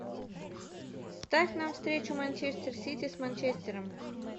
ставь нам встречу манчестер сити с манчестером